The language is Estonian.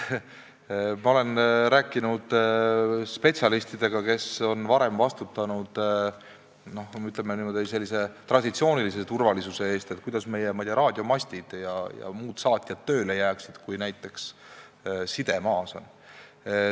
Ma olen rääkinud spetsialistidega, kes on varem vastutanud sellise traditsioonilise turvalisuse eest, et kuidas meie raadiomastid ja muud saatjad tööle jääksid, kui side maas on.